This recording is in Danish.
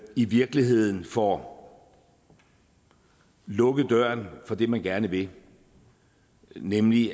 i virkeligheden får lukket døren for det man gerne vil nemlig